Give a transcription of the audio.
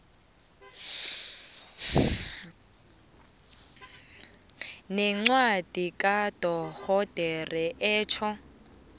nencwadi kadorhodera etjho